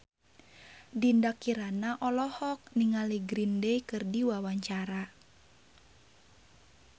Dinda Kirana olohok ningali Green Day keur diwawancara